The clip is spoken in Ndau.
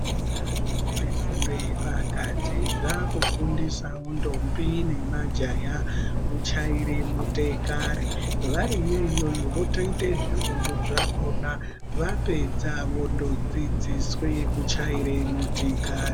Zvikora zvinope fundo yepakati zvaakufundisawo ndombi nemajaya, kuchaire motikari. Variyo iyoyo votoite zvifundo zvakhona. Vapedza vondodzidziswe kuchaire motikari.